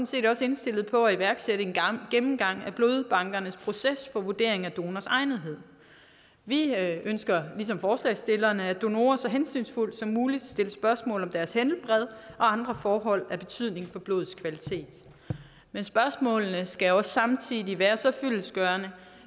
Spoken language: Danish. set også indstillet på at iværksætte en gennemgang af blodbankernes proces for vurdering af donors egnethed vi ønsker ligesom forslagsstillerne at donorer så hensynsfuldt som muligt stilles spørgsmål om deres helbred og andre forhold af betydning for blodets kvalitet men spørgsmålene skal også samtidig være så fyldestgørende